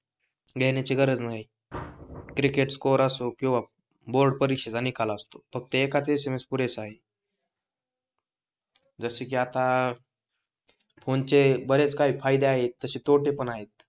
घेण्याची गरज नाही क्रिकेट स्कोअर असो किंवा बोर्ड परीक्षेचा निकाल असतो फक्त एकच SMS पुरेसा आहे जसे की आता फोनचे बरेच काही फायदे आहे तसे तोटे पण आहे